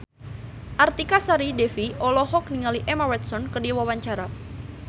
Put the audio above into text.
Artika Sari Devi olohok ningali Emma Watson keur diwawancara